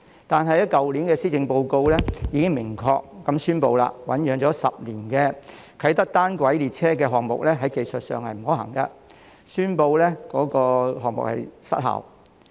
但是，去年的施政報告已經明確宣布，醞釀10年的啟德單軌列車項目在技術上不可行，宣布項目失效。